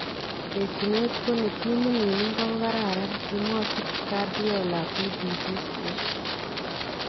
Terchinet ko ni timit niin inko ko kararan , kimwachi Guardiola BBC Sport